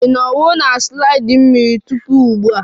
Ị nọwo na slide mmiri tupu ugbua?